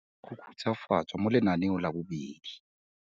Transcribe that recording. Go khutshwafatswa mo Lenaneo la 2.